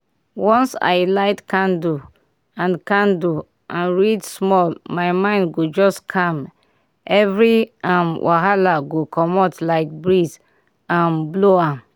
once i light candle and candle and read small my mind go just calm every um wahala go comot like breeze um blow am.